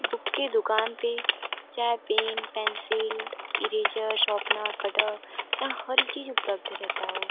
Book की दूकान पे जहाँ pen pencil eraser sharpener cutter यहाँ हर एक चीज उपलब्ध रहता हो।